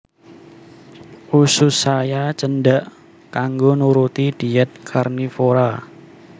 Usus saya cendhak kanggo nuruti dhièt karnivora